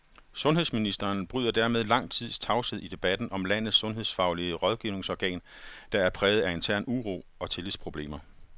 Sundhedsministeren bryder dermed lang tids tavshed i debatten om landets sundhedsfaglige rådgivningsorgan, der er præget af intern uro og tillidsproblemer.